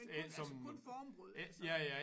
Men kun altså kun formbrød altså